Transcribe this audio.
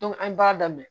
an b'a daminɛ